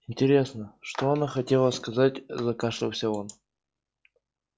интересно что она хотела сказать закашлялся он